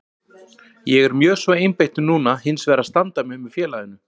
Ég er mjög svo einbeittur núna hinsvegar að standa mig með félaginu.